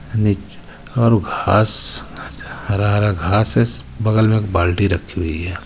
हरा हरा घास है स बगल में बाल्टी रखी हुई है.